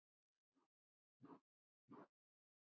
Elsku Borga!